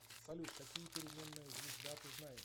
салют какие переменная звезда ты знаешь